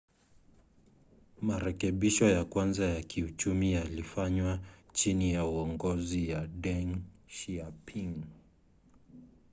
marekebisho ya kwanza ya kiuchumi yalifanywa chini ya uongozi wa deng xiaoping